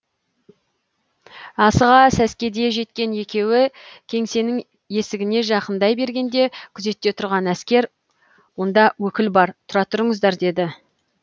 асыға сәскеде жеткен екеуі кеңсенің есігіне жақындай бергенде күзетте тұрған әскер онда өкіл бар тұра тұрыңыздар деді